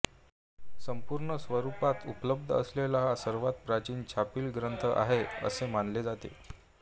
संपूर्ण स्वरूपात उपलब्ध असलेला हा सर्वात प्राचीन छापील ग्रंथ आहे असे मानले जाते